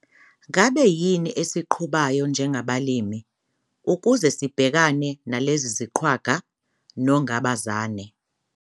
NGABE YINI ESIQHUBAYO NJENGABALIMI UKUZE SIBHEKANE NALEZI ZIQWAGA, NONGABAZANE.